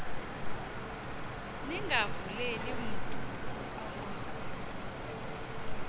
ningavuleli mntu unkqonkqozayo